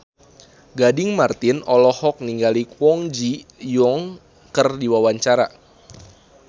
Gading Marten olohok ningali Kwon Ji Yong keur diwawancara